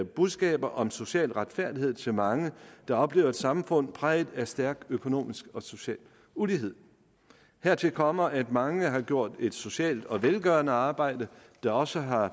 budskaber om social retfærdighed til mange der oplever et samfund præget af stærk økonomisk og social ulighed hertil kommer at mange har gjort et socialt og velgørende stykke arbejde der også har